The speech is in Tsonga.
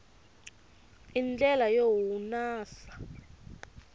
i ndlela yo hunasa